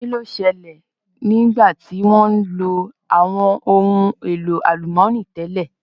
Kí ló ṣẹlẹ̀ nígbà tí wọ́n lo àwọn ohun èlò àlùmọ́nì tẹ́lẹ̀?